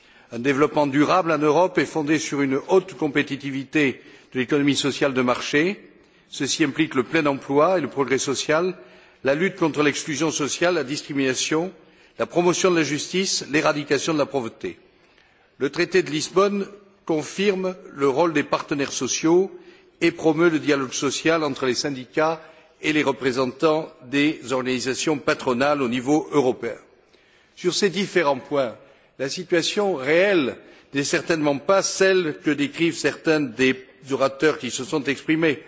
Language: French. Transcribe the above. Un développement durable en Europe est fondé sur une haute compétitivité de l'économie sociale de marché, ce qui implique le plein emploi et le progrès social, la lutte contre l'exclusion sociale et la discrimination, la promotion de la justice et l'éradication de la pauvreté. Le traité de Lisbonne confirme le rôle des partenaires sociaux et promeut le dialogue social entre les syndicats et les représentants des organisations patronales au niveau européen. Sur ces différents points, la situation réelle n'est certainement pas celle que décrivent certains des orateurs qui se sont exprimés.